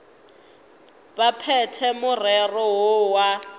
ba phethe morero woo wa